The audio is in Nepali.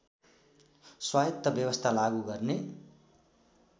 स्वायत्त व्यवस्था लागू गर्ने